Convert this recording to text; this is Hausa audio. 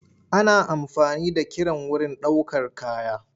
Ana amfani da kiren wurin ɗaukar kaya.